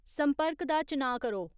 संर्पक दा चनाऽ करो